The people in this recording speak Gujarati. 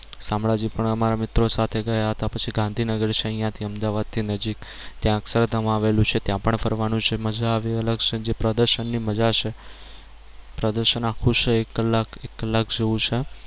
શામળાજી પણ અમારા મિત્રો સાથે ગયા હતા પછી ગાંધીનગર છે અહિયાં થી અમદાવાદ થી નજીક ત્યાં અક્ષરધામ આવેલું છે ત્યાં પણ ફરવાનું છે મજા આવે એ અલગ છે જે પ્રદર્શન ની મજા છે પ્રદર્શન આખું છે એક કલાક એક કલાક જેવુ છે